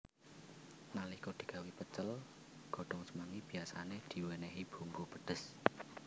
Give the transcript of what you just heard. Nalika digawé pecel godhong semanggi biyasané diwénéhi bumbu pedhes